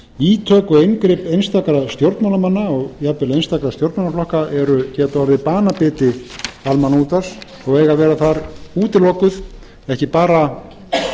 ítök og inngrip einstakra stjórnmálamanna og jafnvel einstakra stjórnmálaflokka geta orðið banabiti almannaútvarps og eiga að vera þar útilokuð ekki bara